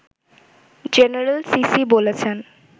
general Sisi বলেছেন